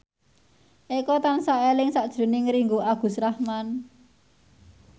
Eko tansah eling sakjroning Ringgo Agus Rahman